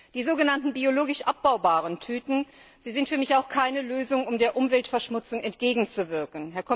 Die sogenannten biologisch abbaubaren Tüten sind für mich auch keine Lösung, um der Umweltverschmutzung entgegenzuwirken.